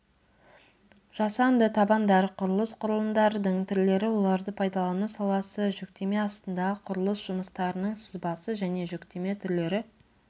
жасанды табандар құрылыс құрылымдардың түрлері оларды пайдалану саласы жүктеме астындағы құрылыс жұмыстарының сызбасы және жүктеме түрлері